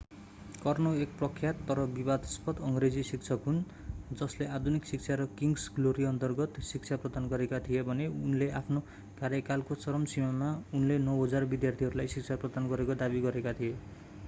Carnot एक प्रख्यात तर विवादास्पद अङ्ग्रेजी शिक्षक हुन् जसले आधुनिक शिक्षा र किङ्स ग्लोरी अन्तर्गत शिक्षा प्रदान गरेका थिए भने उनले आफ्नो कार्यकालको चरम सीमामा उनले 9,000 विद्यार्थीहरूलाई शिक्षा प्रदान गरेको दावी गरेका थिए